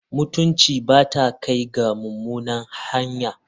Mutunci ba ta kai ga mummuna hanya.